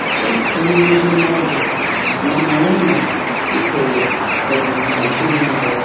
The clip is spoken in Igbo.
Chepụta ihe Oziọma bụ ma mara ma ị kwere ka ọ bụ na ị kweghị na ya.